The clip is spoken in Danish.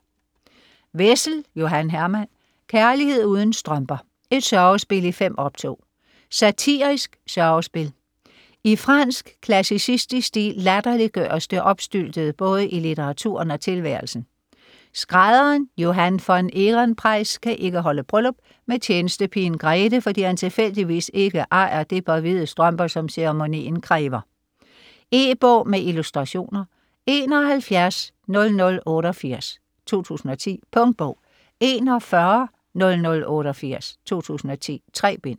Wessel, Johan Herman: Kærlighed uden strømper: et sørgespil i 5 optog Satirisk sørgespil. I fransk klassicistisk stil latterliggøres det opstyltede både i litteraturen og tilværelsen. Skrædderen Johan von Ehrenpreis kan ikke holde bryllup med tjenestepigen Grethe, fordi han tilfældigvis ikke ejer det par hvide strømper, som ceremonien kræver. E-bog med illustrationer 710088 2010. Punktbog 410088 2010. 3 bind.